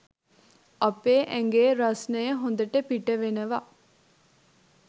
අපේ ඇඟේ රස්‌නය හොඳට පිට වෙනවා..